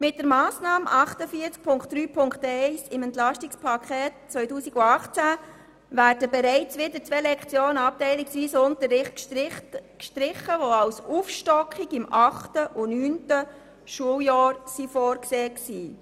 Mit der Massnahme 48.3.1 des Entlastungspakets 2018 werden bereits wieder zwei Lektionen abteilungsweiser Unterricht gestrichen, die als Aufstockung im achten und neunten Schuljahr vorgesehen waren.